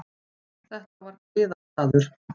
Þetta var griðastaður.